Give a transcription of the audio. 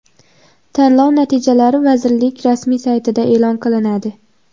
Tanlov natijalari vazirli k rasmiy sayti da e’lon qilinadi.